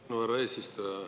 Tänan, härra eesistuja!